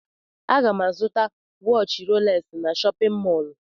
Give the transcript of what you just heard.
Aga m azụta waatchi rolex n'shóppin mol.